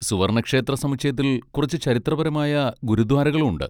സുവർണ്ണ ക്ഷേത്ര സമുച്ചയത്തിൽ കുറച്ച് ചരിത്രപരമായ ഗുരുദ്വാരകളും ഉണ്ട്.